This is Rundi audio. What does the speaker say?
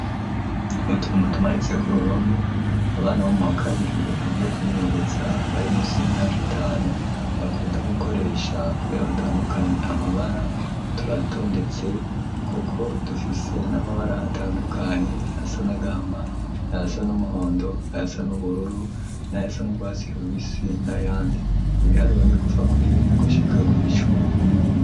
Utuntu tumanitse ku ruhompe abana bo mu wa kabiri mu vyo kubimenyeretsa bari munsi imyaka itanu bakunda gukoresha kuri a batandukanye amabara turatondetse kuko tufise n'amabara atandukanye ayasanagahma ayasa n'umuhondo ayasan' ubururu n'ayasa n’urwatsi rubisi n’ayandi, ibihariro ni kuva kuri rimwe gushika kw' icumi.